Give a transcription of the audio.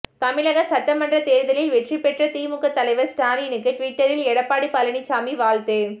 தமிழக சட்டமன்ற தேர்தலில் வெற்றி பெற்ற திமுக தலைவர் ஸ்டாலினுக்கு டிவிட்டரில் எடப்பாடி பழனிசாமி வாழ்த்து